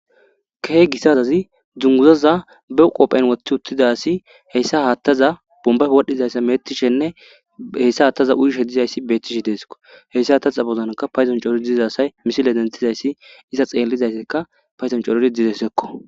Keh gi sazazi dzunguzaza bew qophen woththi uttidasi heyssa haattaza bombay wodhdhizayssa metishenne heyssa haattaza uyishe dizayssi betishe deeso heyssa hataxa bozanka payzon cooro dizasay misile denthizayssi iza xeellizaysseka payzon corori dizessekko